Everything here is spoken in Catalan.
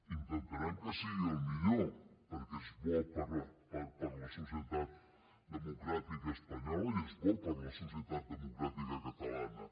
intentarem que sigui el millor perquè és bo per a la societat democràtica espanyola i és bo per a la societat democràtica catalana